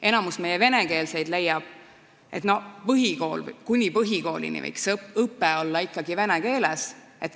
Enamik meie venekeelseid inimesi leiab, et kuni põhikoolini võiks õpe olla ikkagi vene keeles.